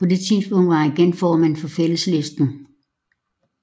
På det tidspunkt var han igen formand for Fælleslisten